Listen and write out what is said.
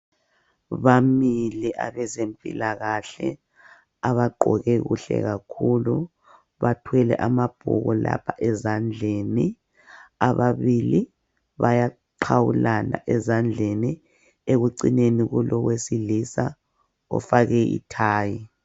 Bamile abezempilakahle abagqoke kuhle kakhulu bathwele amabhuku lapha ezandleni ababili bayaqhawulana ezandleni ekucineni kulowesilisa ofake ithayi.